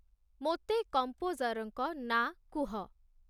ମୋତେ କମ୍ପୋଜର୍‌ଙ୍କ ନାଁ କୁହ